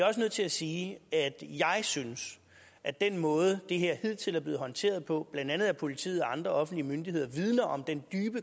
også nødt til at sige at jeg synes at den måde det her hidtil er blevet håndteret på blandt andet af politiet og andre offentlige myndigheder vidner om den